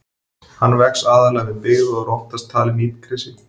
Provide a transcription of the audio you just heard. Hann vex aðallega við byggð og er oftast talinn illgresi.